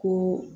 Ko